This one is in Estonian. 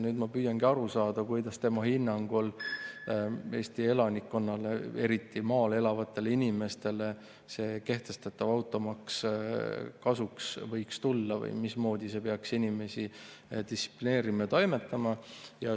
Nüüd ma püüangi aru saada, kuidas tema hinnangul Eesti elanikkonnale, eriti maal elavatele inimestele, see kehtestatav automaks kasuks võiks tulla või mismoodi see peaks inimesi distsiplineerima ja mismoodi toimima.